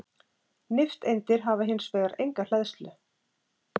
nifteindir hafa hins vegar enga hleðslu